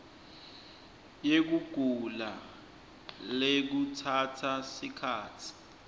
yekugula lekutsatsa sikhatsi